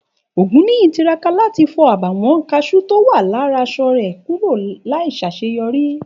Ògúnníyì tiraka láti fo àbàwón kasú tí o wà lára aṣọ rẹ kúrò láì ṣaṣeyọri